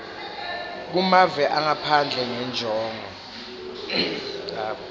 kumave angaphandle ngenjongo